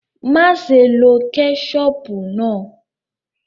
Maṣé ló kẹ́chọpù náà!